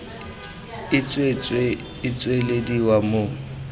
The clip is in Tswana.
e tswetswe e tswelediwa mo